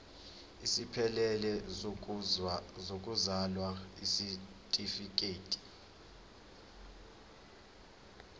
esiphelele sokuzalwa isitifikedi